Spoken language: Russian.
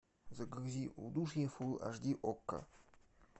загрузи удушье фул аш ди окко